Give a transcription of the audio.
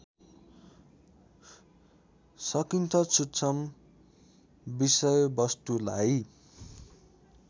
सकिन्छ सूक्ष्म विषयवस्तुलाई